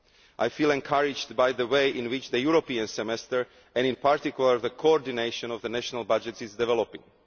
I feel encouraged by the way in which the European Semester, and in particular the coordination of national budgets, is developing.